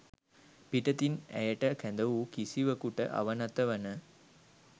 පිටතින් ඇයට කැඳවූ කිසිවකුට අවනත වන